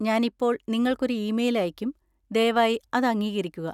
ഞാൻ ഇപ്പോൾ നിങ്ങൾക്ക് ഒരു ഇമെയിൽ അയയ്ക്കും. ദയവായി അത് അംഗീകരിക്കുക.